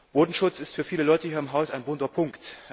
Bodenschutz ist für viele Leute hier im Haus ein wunder Punkt.